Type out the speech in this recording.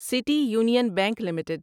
city union bank limited